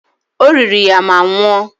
O riri ya ma nwụọ.